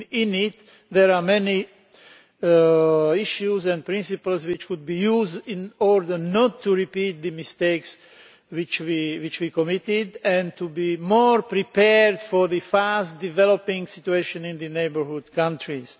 It contains many issues and principles which could be used in order not to repeat the mistakes which we committed and to be more prepared for the fast developing situation in the neighbourhood countries.